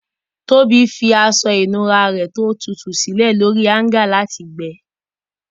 Tobi fi aṣọ ìnura rẹ ti o tutu silẹ lori aṣọ ìnura lati gbẹ.